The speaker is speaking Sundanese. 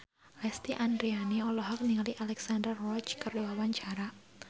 Lesti Andryani olohok ningali Alexandra Roach keur diwawancara